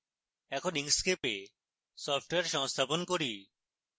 এখন inkscape software সংস্থাপন করি